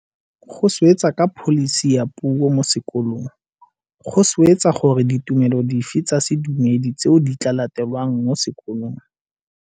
Go swetsa ka pholisi ya puo mo sekolong. Go swetsa gore ke ditumelo dife tsa sedumedi tseo di tla latelwang mo sekolong.